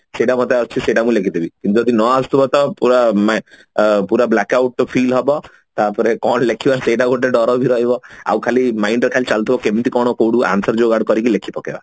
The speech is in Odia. ସେଟା ମତେ ଆସୁଛି ସେଟା ମୁଁ ଲେଖିଦେବି ଯଦି ନ ଆସୁଥିବ ତ ପୁରା ମ ପୁରା blackout feel ହବ ତାପରେ କଣ ଲେଖିବା ସେଟା ଗୋଟେ ଡର ବି ରହିବ ଆଉ ଖାଲି mind ରେ ଖାଲି ଚାଲୁ ଥିବ କେମତି କଣ କୋଉଠୁ answer ଯୋଗାଡ କରିକି ଲେଖି ପକାଏ